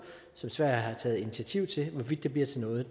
som sverige har taget initiativ til hvorvidt det bliver til noget